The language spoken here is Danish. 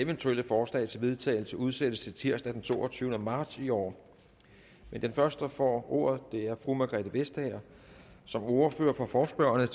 eventuelle forslag til vedtagelse udsættes til tirsdag den toogtyvende marts i år men den første der får ordet er fru margrethe vestager som ordfører for forespørgerne